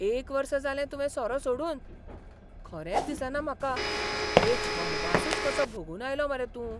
एक वर्स जालें तुवें सोरो सोडून? खरेंच दिसना म्हाका! एक वनवासूच कसो भोगून आयला मरे तूं.